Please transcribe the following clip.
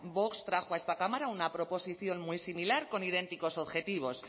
vox trajo a esta cámara una proposición muy similar con idénticos objetivos